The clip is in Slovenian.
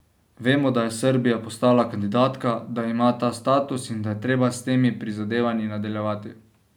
Vemo, da je Srbija postala kandidatka, da ima ta status in da je treba s temi prizadevanji nadaljevati.